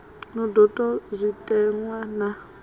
no do ta zwitenwa na